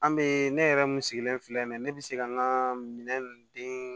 An be ne yɛrɛ mun sigilen filɛ nin ye ne be se ka n ka minɛn ninnu den